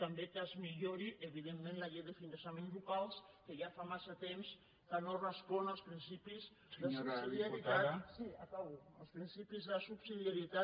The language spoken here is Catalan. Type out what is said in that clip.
també que es millori evidentment la llei de finançaments locals que ja fa massa temps que no respon als principis de subsidiarietat